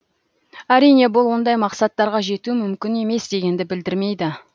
әрине бұл ондай мақсаттарға жету мүмкін емес дегенді білдірмейді